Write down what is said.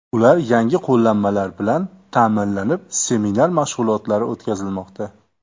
Ular yangi qo‘llanmalar bilan ta’minlanib, seminar mashg‘ulotlari o‘tkazilmoqda.